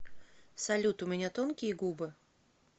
салют у меня тонкие губы